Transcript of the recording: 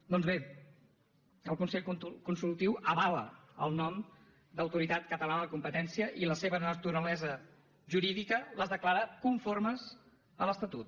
doncs bé el consell consultiu avala el nom d’autoritat catalana de la competència i la seva naturalesa jurídica la declara conforme a l’estatut